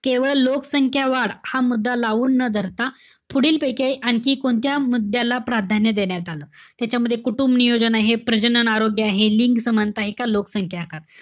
केवळ लोकसंख्या वाढ हा मुद्दा लावून न धरता, पुढीलपैकी आणखी कोणत्या मुद्द्याला प्राधान्य देण्यात आलं? त्याच्यामध्ये कुटुंबनियोजन आहे. प्रजनन आरोग्य आहे. लिंग समानता आहे. का लोकसंख्या आकार,